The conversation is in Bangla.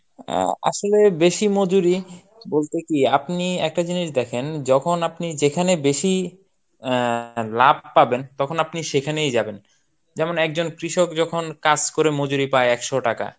অ্যাঁ আসলে বেশি মজুরী বলতে কি আপনি একটা জিনিস দেখেন যখন আপনি যেখানে বেশি আহ লাভ পাবেন তখন আপনি সেখানেই যাবেন যেমন একজন কৃষক যখন কাজ করে মজুরি পায় একশো টাকা